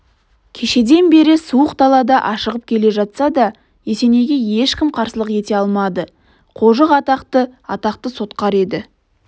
кешеден бері суық далада ашығып келе жатса да есенейге ешкім қарсылық ете алмады қожық атақты атақты сотқар еді